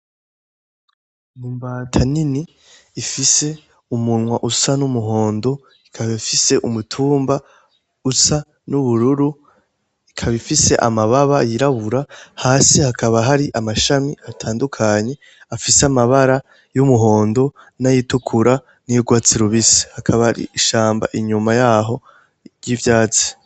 Ni Imbata nini ifise umunwa usa n'umuhondo ikaba ifise umutumba usa n'ubururu ikaba ifise amababa yirabura hasi hakaba hari amashami atandukanyi afise amabara y'umuhondo n'ayitukura nay'urwatsi rubisi hakaba ar'ishamba inyuma yaho ry'ivyatsi.